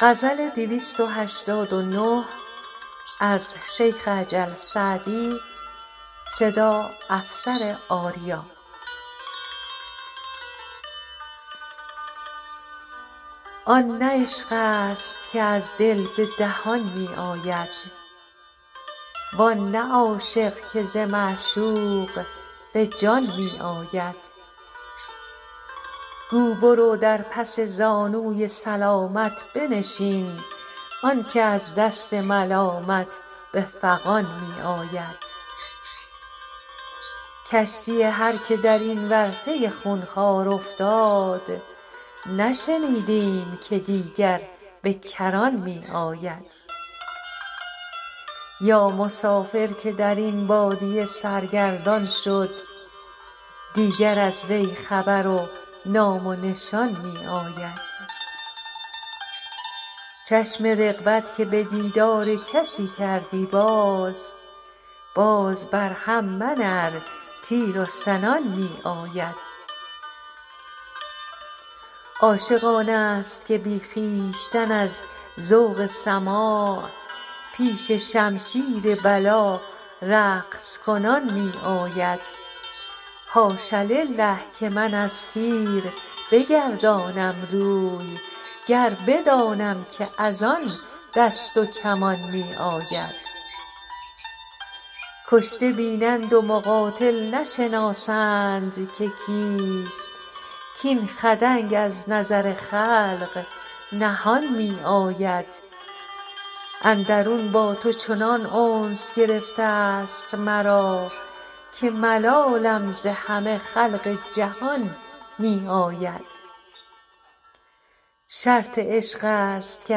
آن نه عشق است که از دل به دهان می آید وان نه عاشق که ز معشوق به جان می آید گو برو در پس زانوی سلامت بنشین آن که از دست ملامت به فغان می آید کشتی هر که در این ورطه خونخوار افتاد نشنیدیم که دیگر به کران می آید یا مسافر که در این بادیه سرگردان شد دیگر از وی خبر و نام و نشان می آید چشم رغبت که به دیدار کسی کردی باز باز بر هم منه ار تیر و سنان می آید عاشق آن است که بی خویشتن از ذوق سماع پیش شمشیر بلا رقص کنان می آید حاش لله که من از تیر بگردانم روی گر بدانم که از آن دست و کمان می آید کشته بینند و مقاتل نشناسند که کیست کاین خدنگ از نظر خلق نهان می آید اندرون با تو چنان انس گرفته ست مرا که ملالم ز همه خلق جهان می آید شرط عشق است که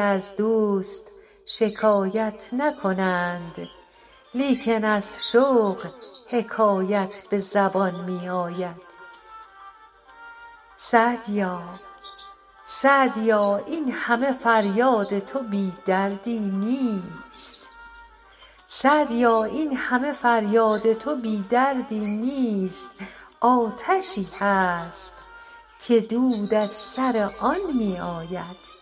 از دوست شکایت نکنند لیکن از شوق حکایت به زبان می آید سعدیا این همه فریاد تو بی دردی نیست آتشی هست که دود از سر آن می آید